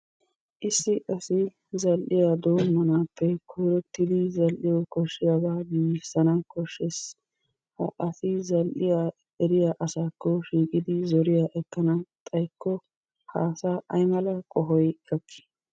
Issi asi zal'iya doommanaappe koyrottidi zal'iyawu koshshiyabaa giiggissana koshshees. Ha asi zal'iya eriya asakko shiiqqidi zoriya ekkana xaykko ha asaa aymala qohoy gakkii?